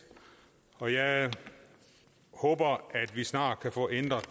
og jeg håber at vi snart kan få ændret